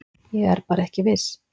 Ég er bara ekki viss.